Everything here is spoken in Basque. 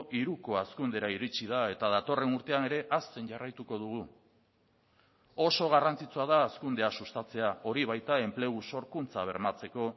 hiruko hazkundera iritsi da eta datorren urtean ere hazten jarraituko dugu oso garrantzitsua da hazkundea sustatzea hori baita enplegu sorkuntza bermatzeko